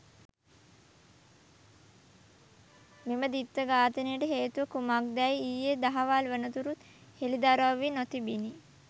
මෙම ද්විත්ව ඝාතනයට හේතුව කුමක්‌දැයි ඊයේ දහවල් වනතුරුත් හෙළිදරව් වී නොතිබිණි.